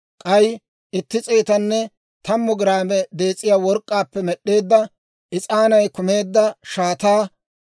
k'ay itti s'eetanne tammu giraame dees'iyaa work'k'aappe med'd'eedda, is'aanay kumeedda shaataa.